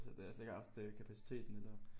Så det havde jeg slet ikke haft øh kapaciteten eller